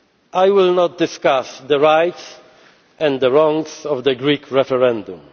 I will not discuss the rights and the wrongs of the Greek referendum.